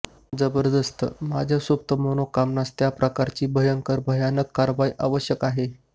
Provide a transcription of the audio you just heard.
जबरदस्त माझ्या सुप्त मनोकामनास त्या प्रकारची भयंकर भयानक कारवाई आवश्यक आहे